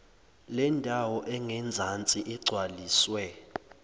lendawo engezansi igcwaliswe